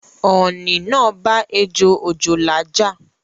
Ọ̀ọ̀nì naa bá ejò òjòlá ja